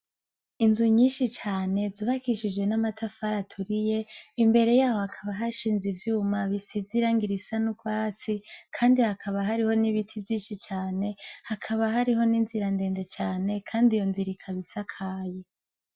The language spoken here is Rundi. Inzu nyinshi cane zubakishije namatafari aturiye imbere yaho hakaba hashinze ivyuma bisize irangi risa nurwatsi kandi hakaba hari nibiti vyinshi cane, hakaba hari ninzira ndende cane Kandi iyo nzira ikaba isakaye.